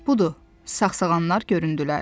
Budur, sağsağanlar göründülər.